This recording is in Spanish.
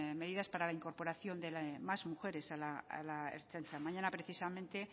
medidas para la incorporación de más mujeres a la ertzaintza mañana precisamente